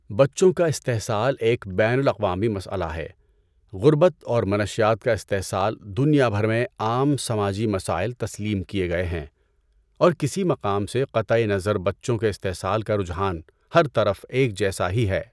بچوں کا استحصال ایک بین الاقوامی مسئلہ ہے۔ غربت اور منشیات کا استحصال دنیا بھر میں عام سماجی مسائل تسلیم کیے گئے ہیں اور کسی مقام سے قطع نظر بچوں کے استحصال کا رجحان ہر طرف ایک جیسا ہی ہے۔